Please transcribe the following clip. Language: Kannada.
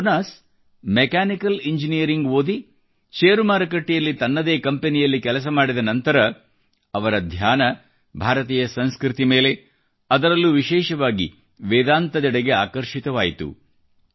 ಜೊನಾಸ್ ಮೆಕ್ಯಾನಿಕಲ್ ಇಂಜೀನಿಯರಿಂಗ್ ಓದಿ ಶೇರು ಮಾರುಕಟ್ಟೆಯಲ್ಲಿ ತನ್ನದೇ ಕಂಪನಿಯಲ್ಲಿ ಕೆಲಸ ಮಾಡಿದ ನಂತರ ಅವರ ಧ್ಯಾನ ಭಾರತೀಯ ಸಂಸ್ಕೃತಿ ಮೇಲೆ ಅದರಲ್ಲೂ ವಿಶೇಷವಾಗಿ ವೇದಾಂತದೆಡೆಗೆ ಆಕರ್ಷಿತವಾಯಿತು